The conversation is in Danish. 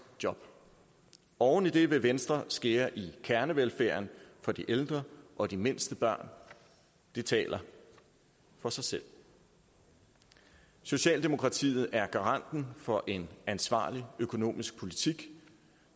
jobs oven i det vil venstre skære i kernevelfærden for de ældre og de mindste børn det taler for sig selv socialdemokratiet er garanten for en ansvarlig økonomisk politik